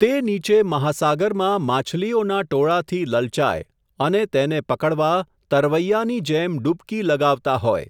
તે નીચે મહાસાગરમાં માછલીઓના ટોળાથી લલચાય, અને તેને પકડવા, તરવૈયાની જેમ ડૂબકી લગાવતા હોય.